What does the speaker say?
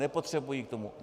Nepotřebují k tomu...